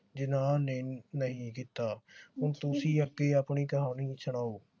ਜਿਨਾਹ ਨੇ ਨਹੀ ਕੀਤਾ। ਹੁਣ ਤੁਸੀ ਅੱਗੇ ਆਪਣੀ ਕਹਾਣੀ ਸੁਨਾਓ